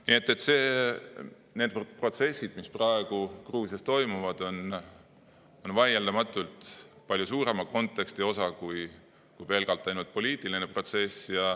Nii et need protsessid, mis praegu Gruusias toimuvad, on vaieldamatult palju suurema konteksti osa kui pelgalt ainult poliitiline protsess.